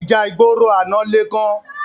Íjà igbóró àná lé gán